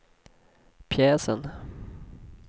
pjäsen